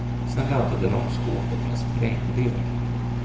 Sen laddade de skåpet med sprängdeg.